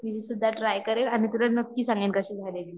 मी सुद्धा ट्राय करेन आणि तुला नक्की सांगेन, कशी झालेली म्हणून